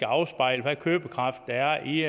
afspejle hvad købekraften er i